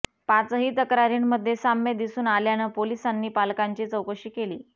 पाचही तक्रारींमध्ये साम्य दिसून आल्यानं पोलिसांनी पालकांची चौकशी केली